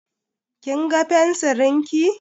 Kin ga fensirin ki?